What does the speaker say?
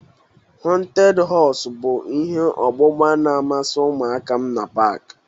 Họnted họs bụ ihe ọgbụgba na-amasị ụmụaka m na pak.